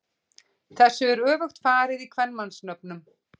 Þessu er öfugt farið í kvenmannsnöfnum.